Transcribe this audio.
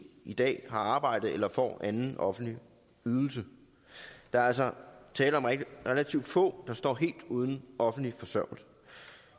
i dag har arbejde eller får anden offentlig ydelse der er altså tale om relativt få der står helt uden offentlig forsørgelse